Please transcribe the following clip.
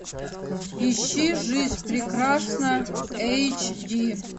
ищи жизнь прекрасна эйч ди